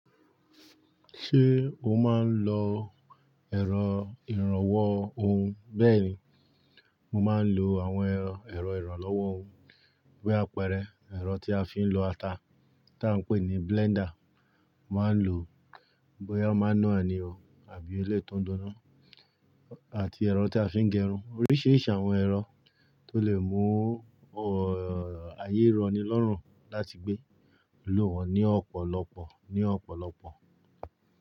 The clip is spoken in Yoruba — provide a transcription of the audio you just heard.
Ṣé o máa ń lo ẹ̀rọ ìrànwọ́ ohun? Bẹ́ẹ̀ni, mo máa ń lo àwọn ẹ̀rọ ìrànlọ́wọ́ ohun bí àpẹẹrẹ ẹ̀rọ tí a fi ń lo ata tá a ń pè ní blender, mo máa ń lo bóyá manúal ni o àbí eléyi tò dúndún náà àti ẹ̀rọ tí a fi ń gẹrun. Oríṣìíríṣìí àwọn ẹ̀rọ tó lè mú ayé rọni lọ́rùn láti gbé lò wọ́n ní ọ̀pọ̀lọpọ̀ ní ọ̀pọ̀lọpọ̀